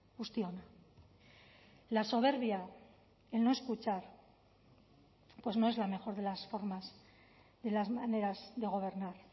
guztiona la soberbia el no escuchar pues no es la mejor de las formas de las maneras de gobernar